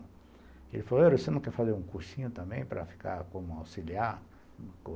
Ele falou, você não quer fazer um cursinho também para ficar como auxiliar?